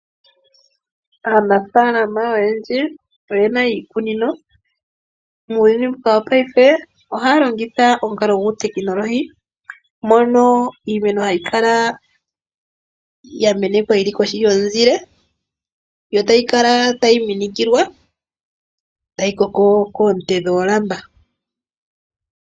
Aanafaalama oyendji oyena iikunino. Muuyuni mbuka wongashingeyi ohaya longitha omukalo guutekinolohi. Mono iimeno hayi kala ya menekwa yili kohi yomuzile yo tayi kala tayi minikilwa tayi koko koonte dhoolamba.